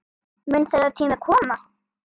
Mun þeirra tími koma?